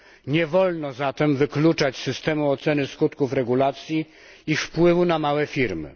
Nie wolno zatem wykluczać z systemu oceny skutków regulacji ich wpływu na małe firmy.